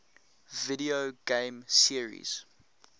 video game series